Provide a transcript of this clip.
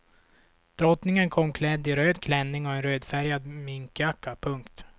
Drottningen kom klädd i röd klänning och en rödfärgad minkjacka. punkt